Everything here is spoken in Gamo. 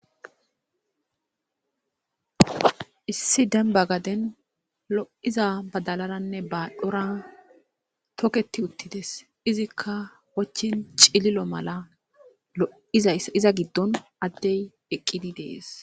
Issi dembba gaden lo'iza badalaranne baadhdhora toketi uttides. Izikka wochchin cililo mala lo'izayssi iza giddon addey eqqidi de'es.